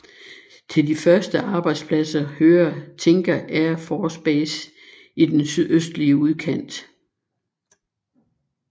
Til de største arbejdspladser hører Tinker Air Force Base i den sydøstlige udkant